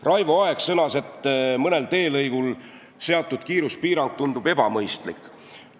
Raivo Aeg sõnas, et mõnel teelõigul kehtestatud kiiruspiirang tundub ebamõistlik.